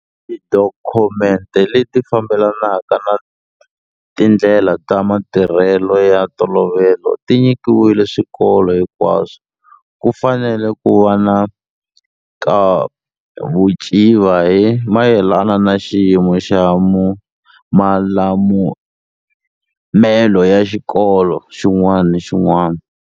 Tidokhumente leti fambelanaka na tindlela ta matirhelo ya ntolovelo ti nyikiwile swikolo hinkwaswo. Ku fanele ku va na nkavuciva hi mayelana na xiyimo xa malulamelo ya xikolo xin'wana ni xin'wana.